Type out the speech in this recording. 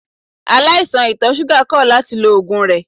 Aláìsàn ìtọ̀ ṣúgà kọ̀ láti lo oògùn rẹ̀.